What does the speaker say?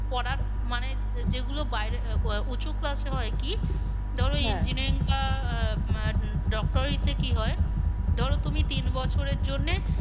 করার মানে যেগুলো বাইরে উঁচু class এ হয় কি বা আহ doctor ই তে কি হয় ধরো তুমি তিন বছরের জন্যে